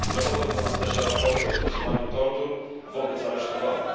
Dochodzą do nas też raporty o stosowaniu tortur wobec aresztowanych.